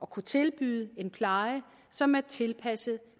kunne tilbyde en pleje som er tilpasset